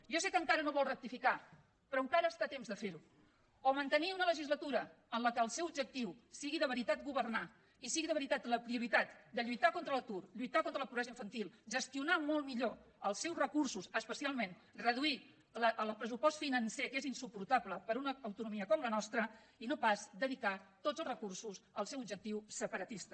jo sé que encara no vol rectificar però encara està a temps de fer ho o mantenir una legislatura en què el seu objectiu sigui de veritat governar i sigui de veritat la prioritat de lluitar contra l’atur lluitar contra la pobresa infantil gestionar molt millor els seus recursos especialment reduir el pressupost financer que és insuportable per a una autonomia com la nostra i no pas dedicar tots els recursos al seu objectiu separatista